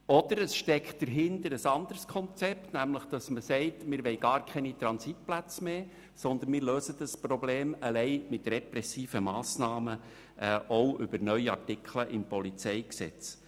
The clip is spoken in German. Oder es steckt ein anderes Konzept dahinter, nämlich zu sagen, man wolle gar keine Transitplätze, sondern löse das Problem allein mit repressiven Massnahmen auch über neue Artikel im PolG.